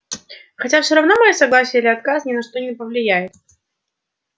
хотя всё равно моё согласие или отказ ни на что не повлияет